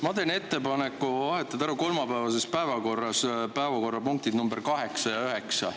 Ma teen ettepaneku vahetada ära kolmapäevases päevakorras päevakorrapunktid nr 8 ja 9.